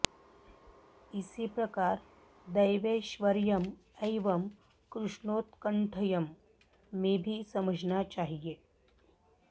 इसी प्रकार देवैश्वर्यम् एवं कृष्णौत्कण्ठयम् में भी समझना चाहिए